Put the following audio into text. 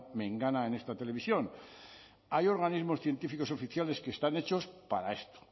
mengana en esta televisión hay organismos científicos oficiales que están hechos para esto